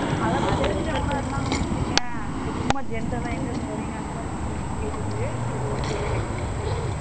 அத பத்திலாம் கேட்டங்கணு வச்சிகோயேன் இப்போ சும்மா general ஆ எங்க இருந்து வரிங்க அந்த மாதிரி கேட்டுட்டு சரி okay அஹ்